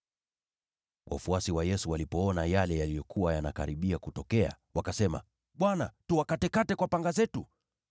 Wafuasi wa Yesu walipoona yale yaliyokuwa yanakaribia kutokea, wakasema, “Bwana, tuwakatekate kwa panga zetu?”